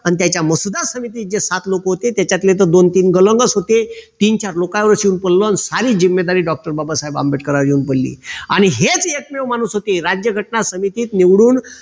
अन त्याचा मसुदा समितीत जे सात लोक होते त्याच्यातले दोन तीन तर गलंगच होते तीन चार लोकांपासून सारी जिम्मेदारी doctor बाबासाहेब आंबेडकरांवर येऊन पडली आणि हेच एकमेव माणूस होते राज्यघटना समितीत निवडून